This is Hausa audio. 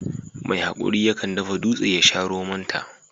Mai hakuri ya kan dafa dutse ya sha romon ta.